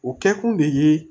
O kɛkun de ye